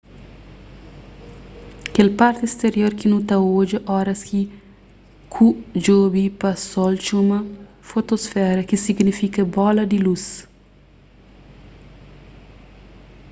kel parti sterior ki nu ta odja oras ki ku djobe pa sol txoma fotosfera ki signifika bola di lus